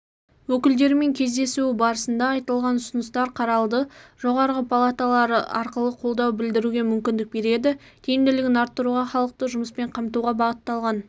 өкілдерімен кездесуі барысында айтылған ұсыныстар қаралды жоғарғы палаталары арқылы қолдау білдіруге мүмкіндік береді тиімділігін арттыруға халықты жұмыспен қамтуға бағытталған